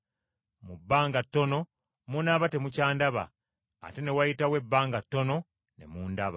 Mu bbanga ttono munaaba temukyandaba, ate wanaayitawo ebbanga ttono ne mundaba!”